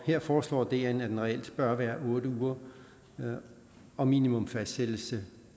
her foreslår dn at den reelt bør være otte uger og minimum fastsættes